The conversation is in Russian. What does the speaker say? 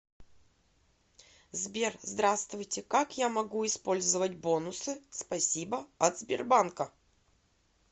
сбер здравствуйте как я могу использовать бонусы спасибо от сбербанка